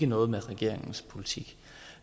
noget med regeringens politik